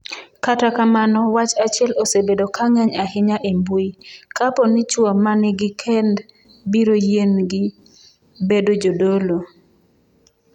Kata kamano, wach achiel osebedo ka ng’eny ahinya e mbui: Kapo ni chwo ma nigi kend biro yienegi bedo jodolo.